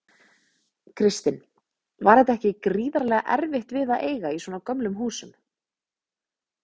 Kristinn: Var þetta ekki gríðarlega erfitt við að eiga í svona gömlum húsum?